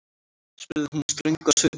spurði hún ströng á svipinn.